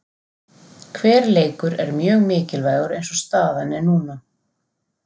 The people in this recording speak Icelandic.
Hver leikur er mjög mikilvægur eins og staðan er núna.